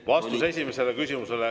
Vastus esimesele küsimusele.